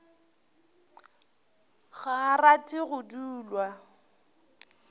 ga a rate go dulwa